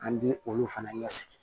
An bi olu fana ɲɛsigi